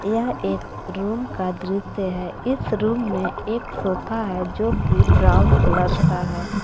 यह एक रूम का दृश्य है इस रूम में एक सोफा है जोकि ब्राउन कलर का है।